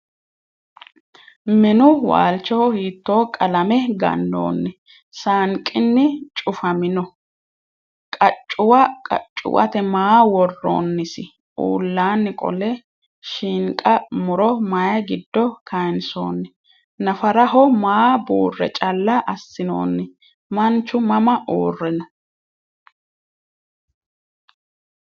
Minnu waalichoho hiitto qalame ganoonni saanqinni cufamminno? qaccuwa qachuwatte maa woroonnisi? Uullanni qole shiinqa muro mayi giddo kayiinsoonni? Naffaraho ma buurre calla asinoonni? Manchu mama uure noo?